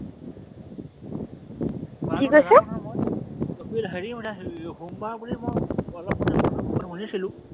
কি কৈছে? বাৰটো নাজানো নহয় মই, হেৰি মানে সোমবাৰ বুলি মই অলপ মানে মানুহৰ মুখত শুনিছিলো।